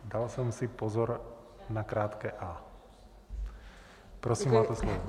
Dal jsem si pozor na krátké a. Prosím, máte slovo.